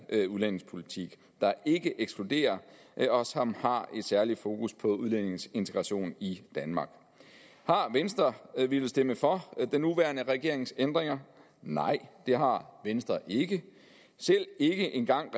udlændingepolitik der ikke ekskluderer og som har et særligt fokus på udlændinges integration i danmark har venstre villet stemme for den nuværende regerings ændringer nej det har venstre ikke ikke engang